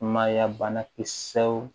Mayya bana kisɛw